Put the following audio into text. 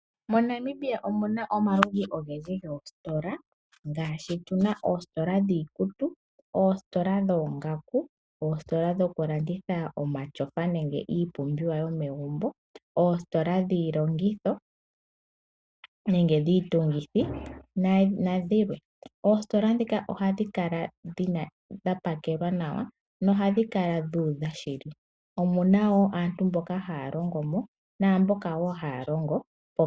MoNamibia omu na omaludhi ogendji goositola ngaashi tu na oositola dhiikutu, oositola dhoongaku , oositola dhokulanditha omatyofa nenge iipumbiwa yomegumbo, oositola dhiilongitho nenge dhiitungithi nayilwe. Oositola ndhika ohadhi kala dha pakelwa nawa dho ohadhi kala dhuudha shili. Omu na wo aantu mboka haya longo mo naamboka haya longo pomashina.